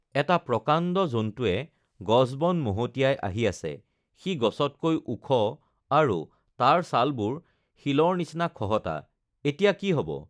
এটা প্ৰকাণ্ড জন্তুৱে গছবন মহতিয়াই আহি আছে৷ সি গছতকৈ ওখ, আৰু তাৰ ছালবোৰ শিলৰ নিচিনা খহটা৷এতিয়া কি হব!